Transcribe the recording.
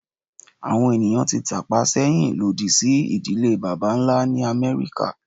Awọn eniyan ti tapa sẹhin lodi si idile baba-nla ni Amẹrika